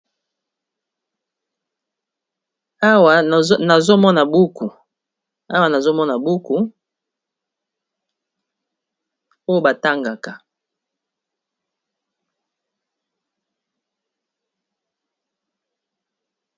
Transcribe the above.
Awa nazomona buku, nazo mona buku oyo batangaka.